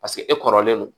Paseke e kɔrɔlen don